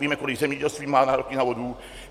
Víme, kolik zemědělství má nároky na vodu.